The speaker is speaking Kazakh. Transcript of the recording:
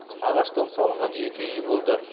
ағаштан салынған жеке үйі болды